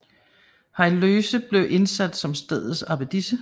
Heloïse blev indsat som stedets abbedisse